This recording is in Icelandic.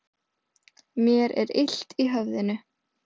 Mér er illt í höfðinu.